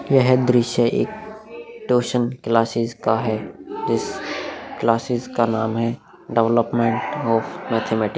यह दृश्य एक ट्यूशन क्लासेस का है जिस क्लासेस का नाम है डेवलपमेंट ऑफ़ मैथमेटिक्स ।